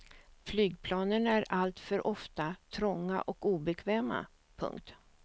Flygplanen är alltför ofta trånga och obekväma. punkt